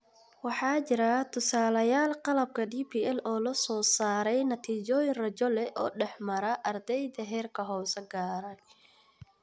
Waxaa jira tusaalayaal qalabka DPL oo soo saaraya natiijooyin rajo leh oo dhex mara ardyada heerka hoose gaaray.